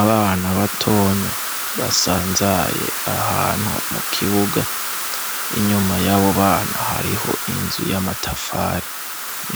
Abana batonya basanzaye ahantu mu kibuga inyuma y'abo bana hariho inzu y'amatafari